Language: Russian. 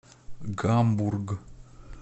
гамбург